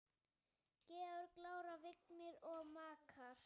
Georg, Lára, Vignir og makar.